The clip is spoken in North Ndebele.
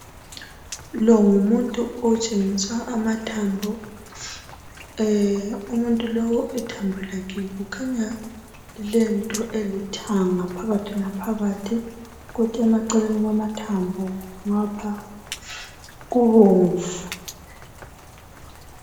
Lo ngumuntu otshengiswa amathambo. Umuntu lowu ithambo lakhe kukhanya kulento elithanga, phakathi laphakathi, kodwa eceleni kwamathambo, ngapha, kubomvu.